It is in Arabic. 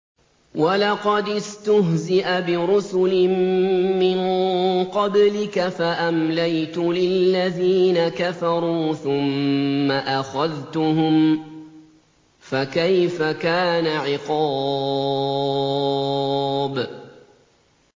وَلَقَدِ اسْتُهْزِئَ بِرُسُلٍ مِّن قَبْلِكَ فَأَمْلَيْتُ لِلَّذِينَ كَفَرُوا ثُمَّ أَخَذْتُهُمْ ۖ فَكَيْفَ كَانَ عِقَابِ